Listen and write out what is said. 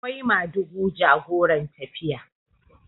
akwai madugu jagoran tafiya